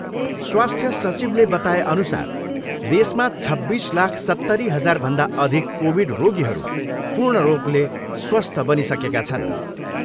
स्वास्थ्य सिचवले बताएअनसार देशमा छब्बिस लाख सत्तरी हजारभन्दा अधिक कोभिड रोगीहरू पूर्ण रूपले स्वास्थ्य बनिसकेका छन्।